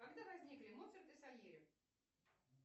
когда возникли моцарт и сальери